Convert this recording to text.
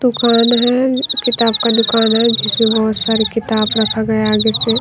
दुकान है किताब का दुकान है जिसमें बहोत सारी किताब रखा गया है आगे से--